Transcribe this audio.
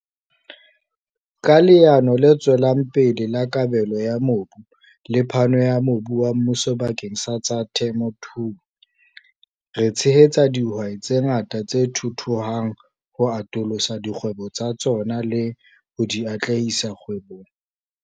Ka Leano le Tswelang Pele la Kabelo ya Mobu le phano ya mobu wa mmuso bakeng sa tsa temothuo, re tshehetsa dihwai tse ngata tse thuthuhang ho atolosa dikgwebo tsa tsona le ho di atlehisa kgwebong.